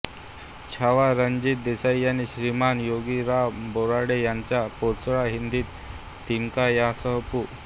छावा रणजित देसाई यांची श्रीमान योगी रा रं बोराडे यांच्या पाचोळा हिंदीत तिनका यांसह पु